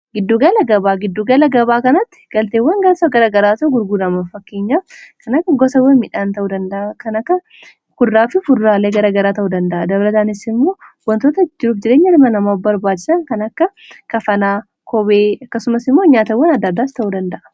Giddugala gabaa: Giddugala gabaa kanatti galteewwan garagaraa ta'u gurguurama fakkeenyaaf kan akka gosawwan midhaan ta'uu danda'a kan akka kuduraafi fuduraalee garagaraa ta'uu danda'a dabalataanis immoo wantoota jiru jireenya ilma nama barbaachisan kan akka kafanaa kophee akkasumas immoo nyaatawwan adda addaas ta'uu danda'a.